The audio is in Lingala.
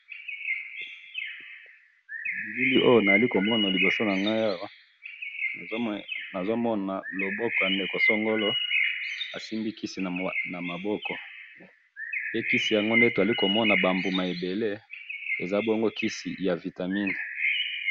bilili oyo nazali komona liboso na ngayi awa ,nazo mona loboko ya ndeko songolo ,asimbi kisi namabko pe kisi tozo mona eza naba mbouma ebele eza bongo kisi ya yaba vitamine